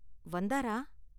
வந்தாரா?